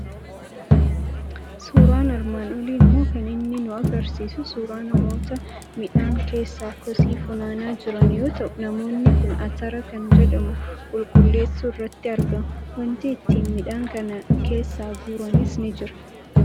Suuraan armaan olii immoo kan inni nu argisiisu suuraa namoota midhaan keessaa kosii funaanaa jiran yoo ta'u, namoonni kun atara kan jedhamu qulqulleessuu irratti argamu. Waanti ittiin midhaan kana keessaa guuranis ni jira.